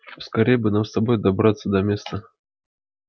поскорее бы нам с тобой добраться до места